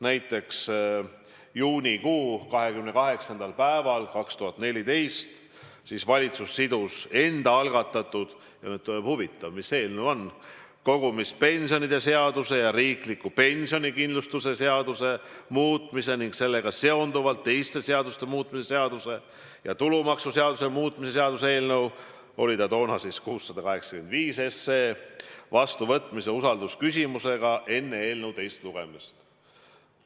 Näiteks, juunikuu 28. päeval 2014 valitsus sidus enda algatatud – nüüd te mõtlete, et huvitav, mis eelnõu ma näiteks toon – kogumispensionide seaduse ja riikliku pensionikindlustuse seaduse muutmise ning sellega seonduvalt teiste seaduste muutmise seaduse ja tulumaksuseaduse muutmise seaduse eelnõu, mis kandis numbrit 685, vastuvõtmise usaldusküsimusega enne eelnõu teist lugemist.